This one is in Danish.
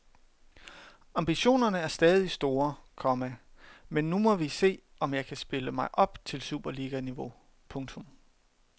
Ambitionerne er stadig store, komma men nu må vi se om jeg kan spille mig op til superliganiveau. punktum